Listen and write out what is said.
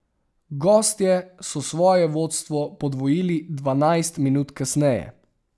Gostje so svoje vodstvo podvojili dvanajst minut kasneje.